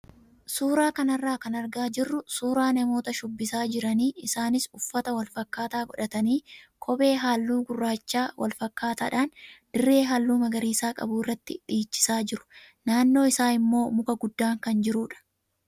Suuraa kanarra kan argaa jirru suuraa namoota shubbisaa jiran isaanis uffata wal fakkaataa godhatanii kophee halluu gurraacha wal fakkaataadhaan dirree halluu magariisa qabu irratti dhiichisaa jiru, Naannoo isaa immoo muka guddaan kan jirudha.